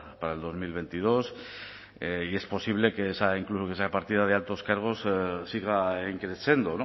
para dos mil veintidós y es posible que esa partida de altos cargos siga in crescendo